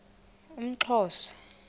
umxhosa